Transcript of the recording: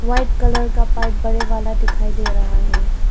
White colour का pipe बड़े वाला दिखाई दे रहा है।